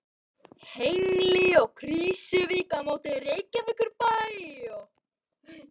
Hengli og Krýsuvík á móti Reykjavíkurbæ og